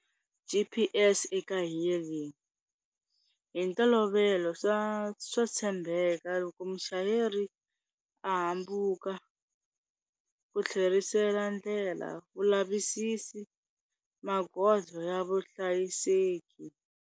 G_P_S eka e-hailing hi ntolovelo swa swa tshembeka loko muchayeri a hambuka ku tlherisela ndlela vulavisisi magoza ya vuhlayiseki.